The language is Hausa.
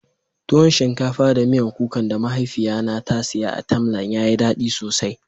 Tuwon shinkafa da miyan kuka da mahaifiya na ta siya a "timeline " ya yi dadi sosai.